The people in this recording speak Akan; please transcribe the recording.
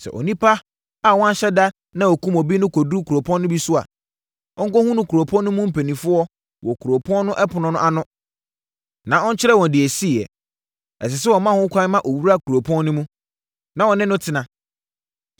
Sɛ onipa a wanhyɛ da na ɔkum obi no duru kuropɔn no bi so a, ɔnkɔhunu kuropɔn no mu mpanimfoɔ wɔ kuropɔn no ɛpono ano na ɔnkyerɛ wɔn deɛ ɛsiiɛ. Ɛsɛ sɛ wɔma ho kwan ma ɔwura kuropɔn no mu, na wɔne no tena.